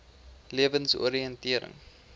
lewensoriëntering